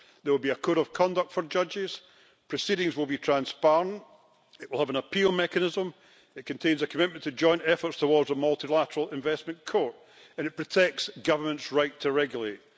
There will be a code of conduct for judges, proceedings will be transparent, the system will have an appeal mechanism, it contains a commitment to joint efforts towards a multilateral investment court, and it protects governments' right to regulate.